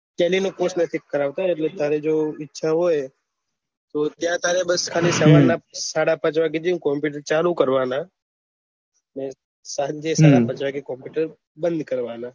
Tally ના course fix કરાવતો એટલે તારે જો ઈચ્છા હોય તો ત્યાં તારે બસ ત્યાં સાડા પાંચ વાગે જયીને કોમ્પુટર ચાલુ કરવાના ને તારા સાંજે સાત વાગે કોમ્પુટર બંદ કરવાના